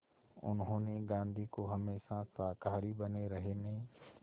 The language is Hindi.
उन्होंने गांधी को हमेशा शाकाहारी बने रहने